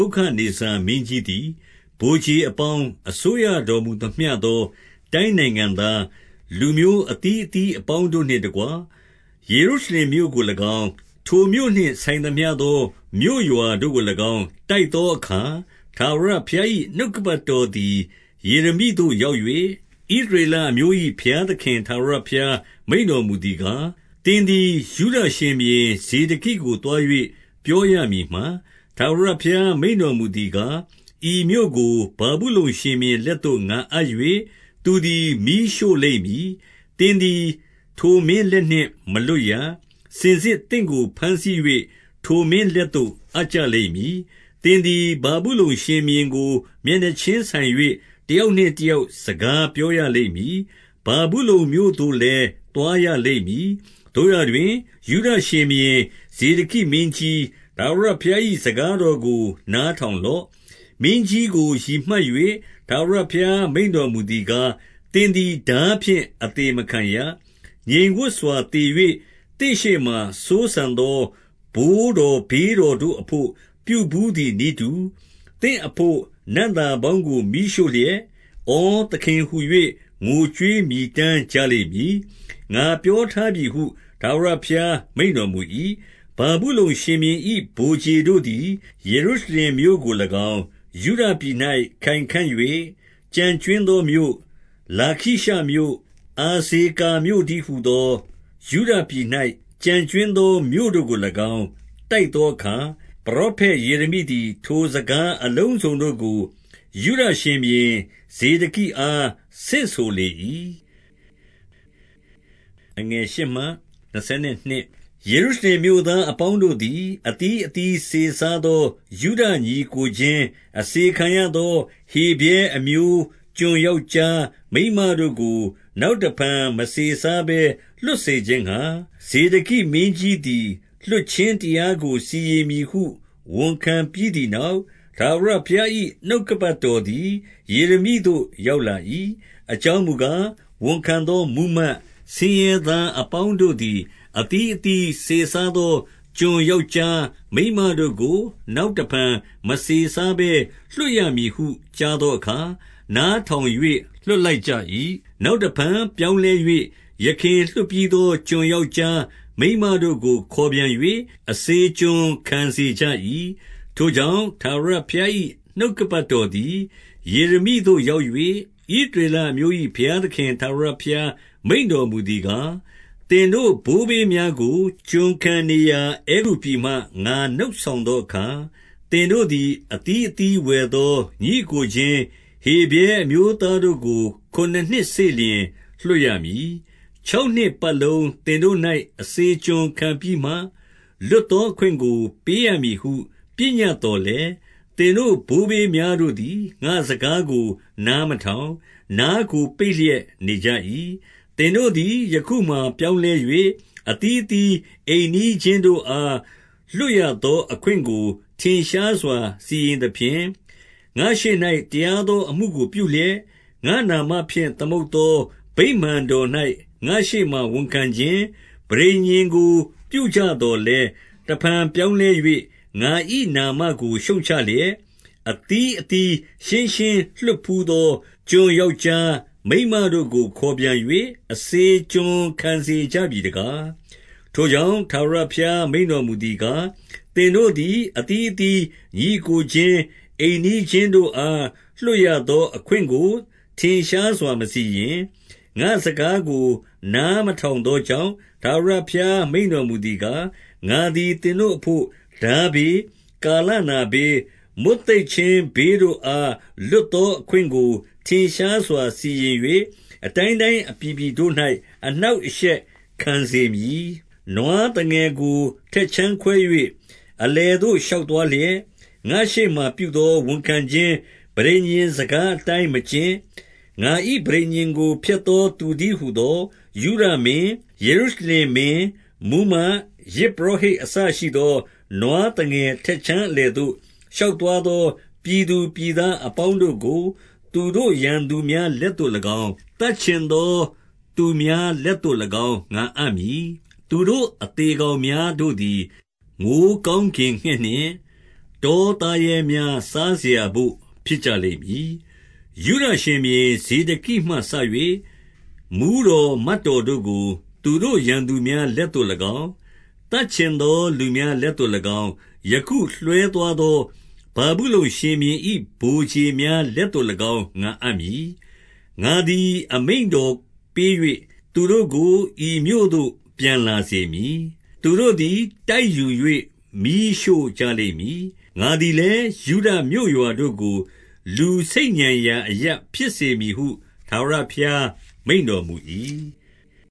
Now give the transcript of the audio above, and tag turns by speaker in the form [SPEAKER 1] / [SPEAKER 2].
[SPEAKER 1] ုခဒ်နေဇာ မင်းကြီး သည် ဗိုလ်ခြေအပေါင်း၊ အစိုးရတော်မူသမျှသော တိုင်းနိုင်ငံသား၊ လူမျိုးအသီးအသီး အပေါင်းတို့နှင့်တကွ၊ ယေရုရှလင်မြို့ကို၎င်း၊ ထိုမြို့နှင့်ဆိုင်သမျှသော မြို့ရွာ တို့ကို၎င်း တိုက်သောအခါ၊ ထာဝရဘုရား၏ နှုတ်ကပတ် တော်သည် ယေရမိသို့ရောက်၍၊ 2 ဣသရေလအမျိုး၏ ဘုရားသခင် ထာဝရဘုရား မိန့်တော်မူသည်ကား၊ သင်သည် ယုဒရှင်ဘုရင် ဇေဒကိကို သွား၍ ပြောရမည်မှာ၊ ထာဝရဘုရား မိန့်တော်မူသည်ကား၊ ဤမြို့ကို ဗာဗုလုန် ရှင်ဘုရင်လက် သို့ ငါအပ်၍၊ သူသည် မီးရှို့လိမ့်မည်။ 3 သင်သည် ထိုမင်းလက်နှင့်မလွတ်ရ။ စင်စစ် သင့်ကိုဘမ်းဆီး၍ ထိုမင်းလက်သို့ အပ်ကြလိမ့်မည်။ သင်သည် ဗာဗုလုန်ရှင်ဘုရင်ကို မျက်နှာချင်းဆိုင်၍ တယောက်နှင့်တယောက် စကားပြောရလိမ့်မည်။ ဗာဗုလုန်မြို့သို့လည်း သွားရလိမ့်မည်။ 4 သို့ရာတွင်၊ ယုဒရှင်ဘုရင် ဇေဒကိမင်းကြီး၊ ထာဝရဘုရား၏ စကားတော်ကို နားထောင်လော့။ မင်းကြီးကို ရည်မှတ်၍ ထာဝရဘုရား မိန့်တော်မူသည် ကား၊ သင်သည် ထားဖြင့်အသေမခံရ။ 5 ငြိမ်ဝပ်စွာသေ၍ သင့်ရှေ့မှာ စိုးစံသော ဘိုးတော်ဘေးတော်တို့အဘို့ ပြုဘူးသည်နည်းတူ၊ သင့် အဘို့ နံ့သာပေါင်းကို မီးရှို့လျက်၊ ဩ သခင်ဟူ၍ ငိုကြွေး မြည်တမ်းကြလိမ့်မည်။ ငါပြောထားပြီဟု ထာဝရဘုရား မိန့်တော်မူ၏။ 6 ဗာဗုလုန် ရှင်ဘုရင်၏ ဗိုလ်ခြေတို့သည် ယေရု ရှလင်မြို့ကို၎င်း၊ 7 ယုဒပြည်၌ ခိုင်ခံ့၍ ကျန်ကြွင်းသောမြို့၊ လာခိရှ မြို့၊ အဇေကာမြို့တည်းဟူသော ယုဒပြည်၌ ကျန်ကြွင်း သော မြို့တို့ကို၎င်း တိုက်သောအခါ၊ ပရောဖက် ယေရမိ သည် ထိုစကားအလုံးစုံတို့ကို ယုဒရှင်ဘုရင် ဇေဒကိအား ဆင့်ဆိုလေ၏။ 8 ယေရုရှလင်မြို့သားအပေါင်းတို့သည် အသီး အသီးစေစားသော ယုဒညီအစ်ကိုချင်း၊ 9 အစေခံရသော ဟေဗြဲအမျိုးကျွန်ယောက်ျား မိန်းမတို့ကို နောက်တဖန် မစေစားဘဲလွှတ်စေခြင်းငှါ၊ ဇေဒကိမင်းကြီးသည် လွှတ်ခြင်းတရားကို စီရင်မည်ဟု ဝန်ခံပြီးသည်နောက်၊ ထာဝရဘုရား၏ နှုတ်ကပတ်တော် သည် ယေရမိသို့ရောက်လာ၏။ 10 အကြောင်းမူကား၊ ဝန်ခံသောမှူးမတ်၊ ဆင်းရဲ သားအပေါင်းတို့သည် အသီးအသီး စေစားသော ကျွန် ယောက်ျား မိန်းမတို့ကို နောက်တဖန် မစေစားဘဲ လွှတ် မည်ဟု ကြားသောအခါ၊ နားထောင်၍ လွှတ်လိုက်ကြ၏။ 11 နောက်တဖန် ပြောင်းလဲ၍ ယခင်လွှတ်ပြီးသော ကျွန်ယောက်ျား မိန်းမတို့ကို ခေါ်ပြန်၍ အစေကျွန်ခံစေ ကြ၏။ 12 ထိုကြောင့်၊ ထာဝရဘုရား၏ နှုတ်ကပတ်တော် သည် ယေရမိသို့ ရောက်၍၊ 13 ဣသရေလအမျိုး၏ ဘုရားသခင် ထာဝရဘုရား မိန့်တော်မူသည်ကား၊ သင်တို့ ဘိုးဘေးများကို ကျွန်ခံ နေရာ အဲဂုတ္တုပြည်မှ ငါနှုတ်ဆောင်သောအခါ၊ 14 သင်တို့သည် အသီးအသီးဝယ်သော ညီအစ်ကို ချင်း ဟေဗြဲအမျိုးသားတို့ကို ခုနစ်နှစ်စေ့လျှင် လွှတ်ရ မည်။ ခြောက်နှစ်ပတ်လုံး သင်တို့၌ အစေကျွန်ခံပြီးမှ၊ လွတ်သော အခွင့်ကိုပေးရမည်ဟု ပညတ်သော်လည်း၊ သင်တို့ ဘိုးဘေးများတို့သည် ငါ့စကားကို နားမထောင်၊ နားကို ပိတ်လျက်နေကြ၏။ 15 သင်တို့သည် ယခုမှာပြောင်းလဲ၍၊ အသီးအသီး အိမ်နီးချင်းတို့ အား လွတ်ရသော အခွင့်ကို ထင်ရှားစွာ စီရင်သဖြင့်၊ ငါ့ရှေ့၌ တရားသော အမှုကို ပြုလျက်၊ ငါ့နာမဖြင့် သမုတ်သော ဗိမာန်တော်၌ ငါ့ရှေ့မှာ ဝန်ခံ ခြင်း ပဋိညာဉ်ကိုပြုကြသော်လည်း၊ 16 တဖန်ပြောင်းလဲ၍ ငါ၏နာမကို ရှုတ်ချလျက်၊ အသီးအသီး ရှင်းရှင်းလွှတ်ဘူးသော ကျွန်ယောက်ျား မိန်းမတို့ကို ခေါ်ပြန်၍ အစေကျွန်ခံစေကြပြီတကား။ 17 ထိုကြောင့်၊ ထာဝရဘုရား မိန့်တော်မူသည်ကား၊ သင်တို့သည် အသီးအသီး ညီအစ်ကိုချင်း၊ အိမ်နီးချင်းတို့ အား လွတ်ရသောအခွင့်ကို ထင်ရှားစွာ မစီရင်၊ ငါ့စကား ကို နားမထောင်သောကြောင့်၊ ထာဝရဘုရား မိန့်တော်မူ သည်ကား၊ ငါသည် သင်တို့အဘို့၊ ထားဘေး၊ ကာလနာ ဘေး၊ မွတ်သိပ်ခြင်းဘေးတို့အား လွတ်သောအခွင့်ကို ထင်ရှားစွာ စီရင်၍၊ အတိုင်းတိုင်းအပြည်ပြည်တို့၌ အနှောင့်အရှက်ခံစေမည်။ 18 နွားသငယ်ကို ထက်ခြမ်းခွဲ၍၊ အလယ်သို့ ရှောက်သွားလျက်၊ ငါ့ရှေ့မှာပြုသော ဝန်ခံခြင်းပဋိညာဉ် စကားအတိုင်းမကျင့်၊ ငါ၏ပဋိညာဉ်ကို ဖျက်သော သူတည်းဟူသော၊ 19 ယုဒမင်း၊ ယေရုရှလင်မင်း၊ မှူးမတ်၊ ယဇ်ပုရော ဟိတ် အစရှိသော၊ နွားသငယ်ထက်ခြမ်းအလယ်သို့ ရှောက်သွားသော ပြည်သူပြည်သားအပေါင်းတို့ကို၊ 20 သူတို့ရန်သူများလက်သို့၎င်း၊ သတ်ချင်သော သူများလက်သို့၎င်း ငါအပ်မည်။ သူတို့အသေကောင် များတို့သည် မိုဃ်းကောင်းကင်ငှက်နှင့် တောသားရဲများ စားစရာဘို့ဖြစ်ကြလိမ့်မည်။ 21 ယုဒရှင်ဘုရင် ဇေဒကိမှစ၍ မှူးတော်မတ်တော် တို့ကို သူတို့ရန်သူများလက်သို့၎င်း၊ သတ်ချင်သောလူများ လက်သို့၎င်း၊ ယခုလွှဲသွားသောဗာဗုလုန်ရှင်ဘုရင်၏ ဗိုလ်ခြေများလက်သို့၎င်း ငါအပ်မည်။ 22 ငါသည် အမိန့်တော်ပေး၍ သူတို့ကို ဤမြို့သို့ ပြန်လာစေမည်။ သူတို့သည် တိုက်ယူ၍မီးရှို့ကြလိမ့်မည်။ ငါသည်လည်း၊ ယုဒမြို့ရွာတို့ကို လူတို့ဆိတ်ညံရာအရပ် ဖြစ်စေမည်ဟု ထာဝရဘုရား မိန့်တော်မူ၏။